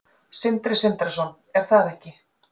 Sindri Sindrason: Er það ekki?